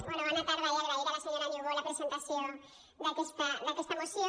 bé bona tarda i agrair a la senyora niubó la presentació d’aquesta moció